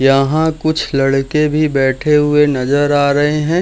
यहाँ कुछ लड़के भी बैठे हुए नजर आ रहे हैं।